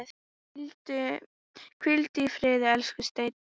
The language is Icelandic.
Hvíldu í friði, elsku Steini.